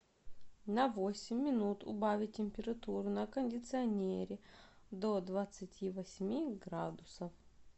на восемь минут убавить температуру на кондиционере до двадцати восьми градусов